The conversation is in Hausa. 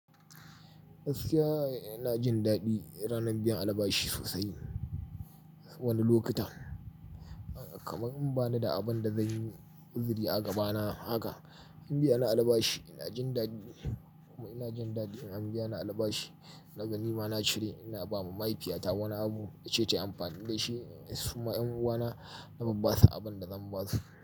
Gaskiya ina jin daɗi ranar biyan alabashi sosai wani lokuta, kamar in bani da abin da zanyi uziri a gabana haka in biya na alabashi ina jin daɗi, ina jin daɗi in an biya na alabashi. Na gani ma na cire ina ba ma mahaifiyata wani abu in ce ta amfani da shi, suma ƴan uwana na ba basu abin da zan basu.